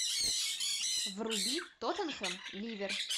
вруби тоттенхэм ливер